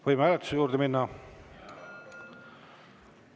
Võime hääletuse juurde minna?